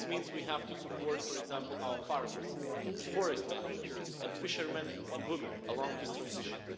This means we have to support, for example, our farmers, forest managers and fishermen and women along this transition.